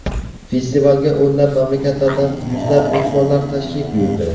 Festivalga o‘nlab mamlakatlardan yuzlab mehmonlar tashrif buyurdi.